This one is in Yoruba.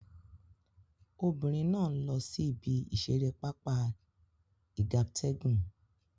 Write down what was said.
Obinrin na n lo si ibi isere papa igabtegun